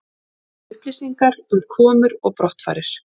Upplýsingar um komur og brottfarir